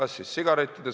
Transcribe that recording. See on tegelikult tõendatud.